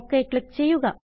okay click ചെയ്യുക